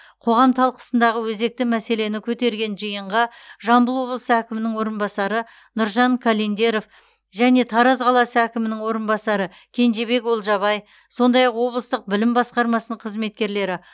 қоғам талқысындағы өзекті мәселені көтерген жиынға жамбыл облысы әкімінің орынбасары нұржан календеров және тараз қаласы әкімінің орынбасары кенжебек олжабай сондай ақ облыстық білім басқармасының қызметкерлері